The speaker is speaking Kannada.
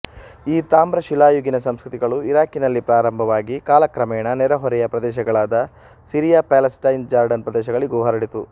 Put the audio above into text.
ಈ ತಾಮ್ರಶಿಲಾಯುಗೀನ ಸಂಸ್ಕೃತಿಗಳು ಇರಾಕಿನಲ್ಲಿ ಪ್ರಾರಂಭವಾಗಿ ಕಾಲಕ್ರಮೇಣ ನೆರೆಹೊರೆಯ ಪ್ರದೇಶಗಳಾದ ಸಿರಿಯ ಪ್ಯಾಲೆಸ್ಟೈನ್ ಜಾರ್ಡನ್ ಪ್ರದೇಶಗಳಿಗೂ ಹರಡಿತು